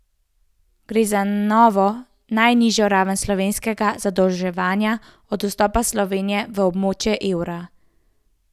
Gre za novo najnižjo raven slovenskega zadolževanja od vstopa Slovenije v območje evra.